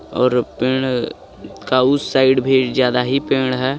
और पेड़ का उस साइड भी ज्यादा ही पेड़ है।